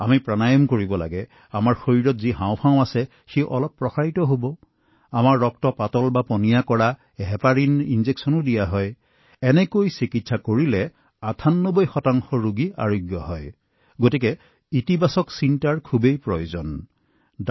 আমি প্ৰাণায়াম কৰিম আমাৰ শৰীৰৰ হাঁওফাঁও অলপ সম্প্ৰসাৰিত কৰিম আৰু আমাৰ তেজ পাতল কৰা বেজী যাক আমি হেপাৰিন বুলি কও এই সৰু সৰু ঔষধ দিলে ৯৮ লোক যদি আৰোগ্য হয় তেন্তে ইতিবাচক হৈ থকাটো অতি গুৰুত্বপূৰ্ণ কথা